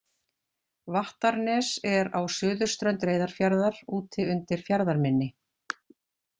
Vattarnes er á suðurströnd Reyðarfjarðar úti undir fjarðarmynni.